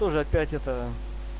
тоже опять это